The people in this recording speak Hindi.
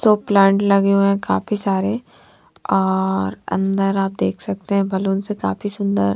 जो प्लांट लगे हुए काफी सारे और अंदर आप देख सकते है बैलून काफी सुन्दर--